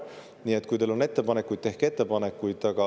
Nii et kui teil on ettepanekuid, siis tehke ettepanekuid.